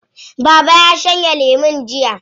Baba ya shanye lemo jiya.